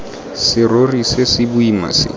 serori se se boima se